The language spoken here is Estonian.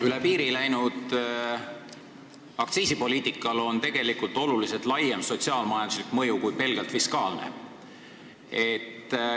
Üle piiri läinud aktsiisipoliitikal on tegelikult märksa laiem sotsiaal-majanduslik mõju – selle mõju pole pelgalt fiskaalne.